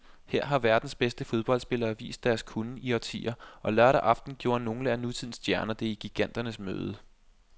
Her har verdens bedste fodboldspillere vist deres kunnen i årtier, og lørdag aften gjorde nogle af nutidens stjerner det i giganternes møde.